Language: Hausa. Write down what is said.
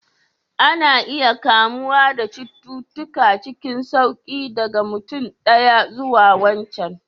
Ana iya kamuwa da cututtuka cikin sauƙi daga mutum ɗaya zuwa wancan